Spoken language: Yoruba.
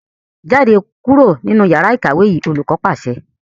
Jáde kúrò nínú yàrá ìkàwé yìí! Olùkọ́ pàṣẹ.